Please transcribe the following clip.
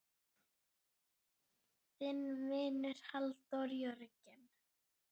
Þinn vinur, Halldór Jörgen.